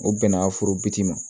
O bɛnna foro biti ma